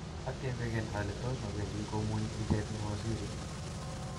atebegen ole tos mapendi komunye ichek mawaziri iih?